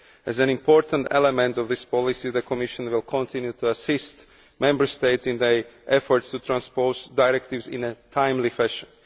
As an important element of this policy, the Commission will continue to assist Member States in their efforts to transpose directives in a timely fashion.